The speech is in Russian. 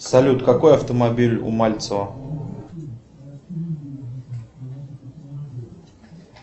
салют какой автомобиль у мальцева